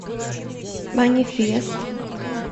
манифест